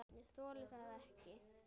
Ég þoli það ekki,